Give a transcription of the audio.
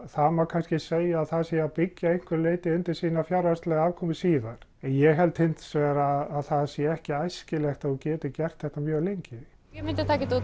það má kannski segja að það sé að byggja að einhverju leyti undir sína fjárhagslegu afkomu síðar en ég held hins vegar að það sé ekki æskilegt að þú getir gert þetta mjög lengi ég myndi taka þetta